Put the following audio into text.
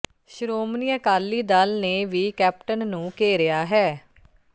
ਸ਼੍ਰੋਮਣੀ ਅਕਾਲੀ ਦਲ ਨੇ ਵੀ ਕੈਪਟਨ ਨੂੰ ਘੇਰਿਆ ਹੈ